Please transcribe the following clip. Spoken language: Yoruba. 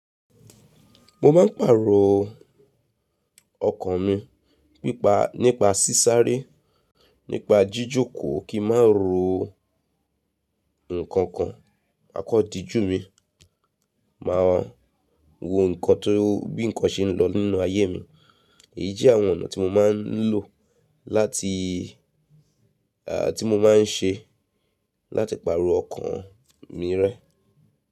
Mo máa ń pàrọ̀ ọkàn mi, nípa sísáré, nípa jíjòkòó kí má rò nkankan, àkedijù mi, maamaa wo nnkan bí nnkan ṣe ń lọ nínú ayé mi. Èyí jẹ́ àwọn ọ̀nà tí mo máa ń lò, tí mo máa ń ṣe láti pàrọ̀ ọkàn mi rẹ́.